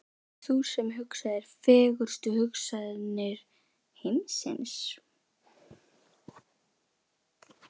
Ert það þú sem hugsaðir, fegurstu hugsanir heimsins?